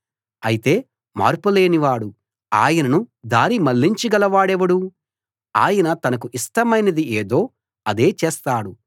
అయితే మార్పు లేనివాడు ఆయనను దారి మళ్ళించ గలవాడెవడు ఆయన తనకు ఇష్టమైనది ఏదో అదే చేస్తాడు